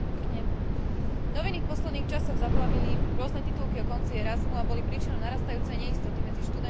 Noviny v posledných časoch zaplavili rôzne titulky o konci programu Erasmus a boli príčinou narastajúcej neistoty medzi študentmi aj rodinami.